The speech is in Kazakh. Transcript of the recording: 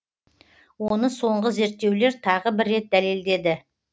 оны соңғы зерттеулер тағы бір рет дәледеді